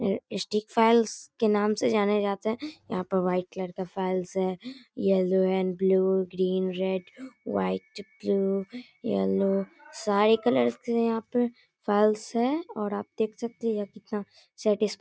ये stick files के नाम से जाने जाते हैं| यहाँ पर व्हाइट कलर का फाइल्स है yellow and blue green red white pink yellow सारे कलर्स हैं यहाँ पे फाइल्स है और आप देख सकते हैं ये कितना सैटीस --